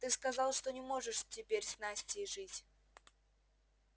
ты сказал что не можешь теперь с настей жить